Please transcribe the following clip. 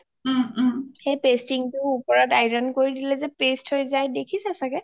সেই pasting টোৰ উপৰত iron কৰি দিলে যে paste হৈ যায় দেখিছা চাগে